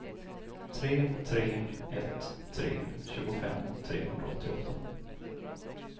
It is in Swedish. tre tre ett tre tjugofem trehundraåttioåtta